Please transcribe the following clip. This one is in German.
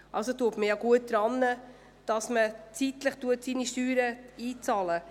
Das ist bereits ein Anreiz dafür, die Steuern rechtzeitig zu bezahlen.